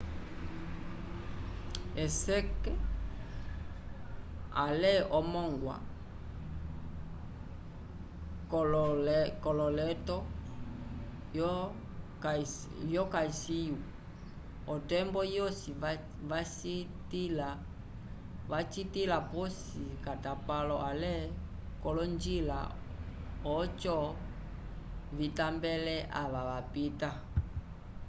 eseke ale omongwa k’ololeto yo kalsyu otembo yosi vacitila posi k’atapalo ale k’olonjila oco vitambele ava vapita